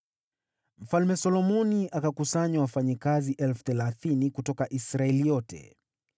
Mfalme Solomoni akakusanya wafanyakazi 30,000 kutoka Israeli yote.